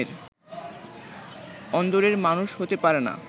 অন্দরের মানুষ হতে পারে না